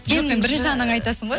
енді бірінші анаңа айтасың ғой